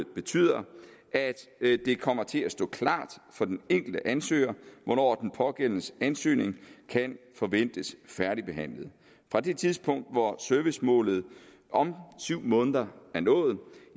betyder at det kommer til at stå klart for den enkelte ansøger hvornår den pågældendes ansøgning kan forventes færdigbehandlet fra det tidspunkt hvor servicemålet om syv måneder